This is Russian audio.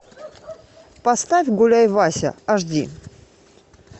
поставь гуляй вася аш ди